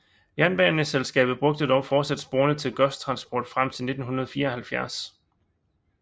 Jernbaneselskabet brugte dog fortsat sporene til godstransport frem til 1974